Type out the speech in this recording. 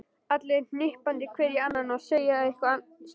Allir hnippandi hver í annan og að segja eitthvað sniðugt.